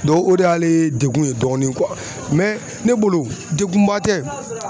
Dɔn o de y'ale degun ye dɔɔni mɛ ne bolo degunba tɛ